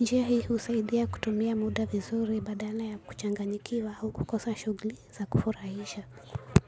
njia hii husaidia kutumia muda vizuri badala ya kuchanganyikiwa au kukosa shughuli za kufurahisha.